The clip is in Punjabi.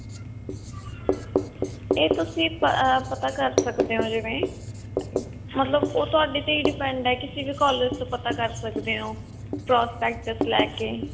ਇਹ ਤੁਸੀਂ ਅਹ ਪਤਾ ਕਰ ਸਕਦੇ ਹੋ ਜਿਵੇਂ ਉਹ ਤੁਹਾਡੇ ਤੇ ਹੀ depend ਹੈ ਕਿਸੀ ਵੀ collage ਤੋਂ ਪਤਾ ਕਰ ਸਕਦੇ ਹੋ prospectus ਲੈਕੇ